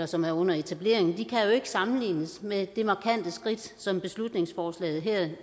som er under etablering ikke sammenlignes med det markante skridt som beslutningsforslaget her